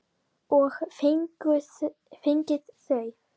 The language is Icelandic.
Og fengið þau.